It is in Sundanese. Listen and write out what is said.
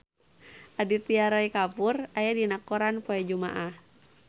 Aditya Roy Kapoor aya dina koran poe Jumaah